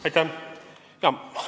Aitäh!